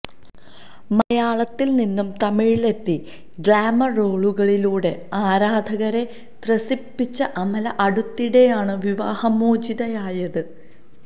മലയാളത്തില് നിന്നും തമിഴിലെത്തി ഗ്ലാമര് റോളുകളിലൂടെ ആരാധകരെ ത്രസിപ്പിച്ച അമല അടുത്തിടെയാണ് വിവാഹമോചിതയായത്